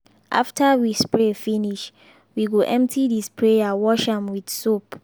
after we spray finish we go empty the sprayer wash am with soap.